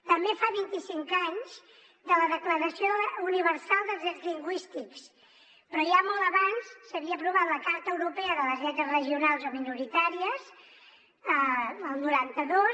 també fa vint i cinc anys de la declaració universal dels drets lingüístics però ja molt abans s’havia aprovat la carta europea de les llengües regionals o minoritàries el noranta dos